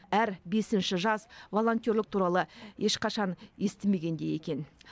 әр бесінші жас волонтерлік туралы ешқашан естімеген де екен